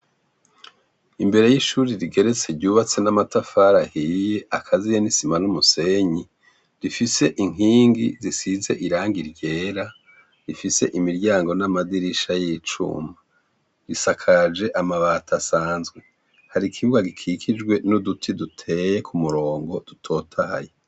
Imbere y'ishuri rigeretse ryubatse n'amatafarahiye akaziye n'isima n'umusenyi rifise inkingi zisize iranga iryera rifise imiryango n'amadirisha y'icuma risakaje amabata asanzwe hari ikibuwa gikikijwe n'uduti duteye ku murongo totahaye.